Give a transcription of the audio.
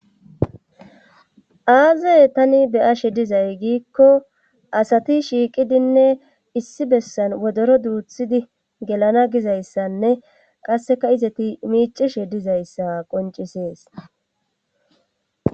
aaze tani beyashe dizay giikko asati shiiqidinne issi bessan wodoro duuthidi gelana gizayssanne qasseka izati miicishe dizayssa qoncisees